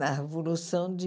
Na Revolução de